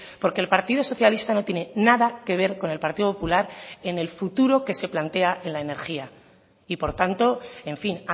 porque el partido socialista no tienen nada que ver con el partido popular en el futuro que se plantea en la energía y por tanto en fin